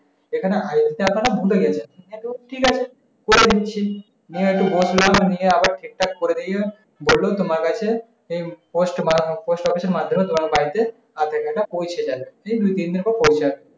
এখানে I দিতে আপনারা ভুলে গেছেন। গেল ঠিক আছে করে দিচ্ছি। নিয়ে আবার ঠিক-ঠাক করে দিয়ে বলল তোমার কাছে এই post মারানো post office এর মাধ্যমে তোমার বাড়িতে আধার-কার্ডটা পৌঁছে যাবে। যেই দুই তিনদিন পর পৌঁছয়।